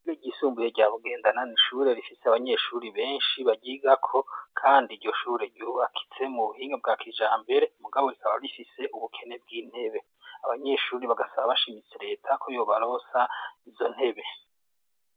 Ishure ryisumbuye rya Bugendana, n'ishure rifise abanyeshuri benshi baryigako, kandi iryo shure yubakitse mu buhinga bwa kijambere, mugabo rikaba rifise ubukene bw'intebe. Abanyeshuri bagasaba bashimitse leta ko yobaronsa izo ntebe.